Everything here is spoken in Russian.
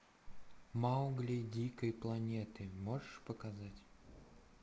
маугли дикой планеты можешь показать